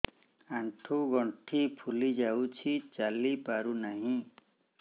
ଆଂଠୁ ଗଂଠି ଫୁଲି ଯାଉଛି ଚାଲି ପାରୁ ନାହିଁ